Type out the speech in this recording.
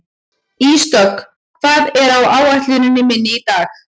Ísdögg, hvað er á áætluninni minni í dag?